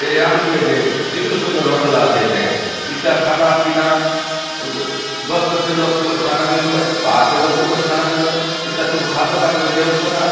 ए आमचो एदे कितुरो सुन्दर होटल आसे एदे इता खाना पीना अब बस्तर छे लोगो न खाना मिलु आय इता तू खात उसखा --